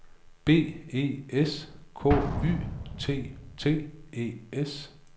B E S K Y T T E S